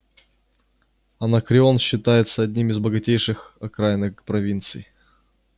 анакреон считается одним из богатейших окраинных провинций